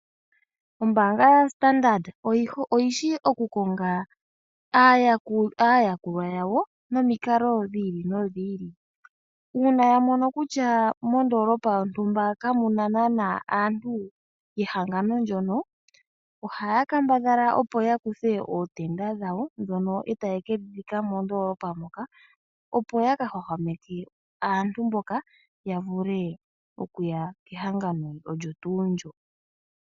Ombaanga yopamuthika oyishi oku konga aayakulwa yawo nomikalo dhi ili nodhi ili. Uuna yamono kutya moondoolopa yontumba kamuna nana aantu yehangano ndyoka, ohaya kambadhala opo yakuthe ootenda dhawo dhono taye kedhi dhika mondoolopa moka, opo yakahwahwameke aantu mboka okuya kehangano lyo tuu ndika.